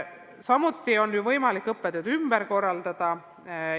Samuti on võimalik õppetööd ümber korraldada.